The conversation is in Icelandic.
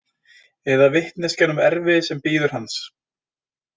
Eða vitneskjan um erfiðið sem bíður hans.